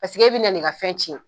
Paseke e bina nin ka fɛn cɛn